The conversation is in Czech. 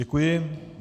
Děkuji.